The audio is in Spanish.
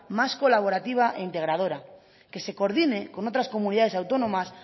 más colaborativa a integradora que se coordine con otras comunidades autónomas